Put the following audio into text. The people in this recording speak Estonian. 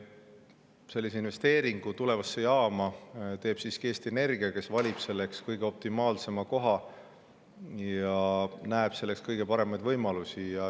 Sellise investeeringu tulevasse jaama teeb siiski Eesti Energia, kes valib selleks kõige optimaalsema koha ja näeb selleks kõige paremaid võimalusi.